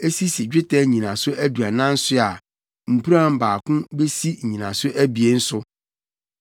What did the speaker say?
a esisi dwetɛ nnyinaso aduanan so a mpuran baako besi nnyinaso abien so.